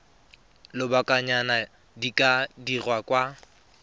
lobakanyana di ka dirwa kwa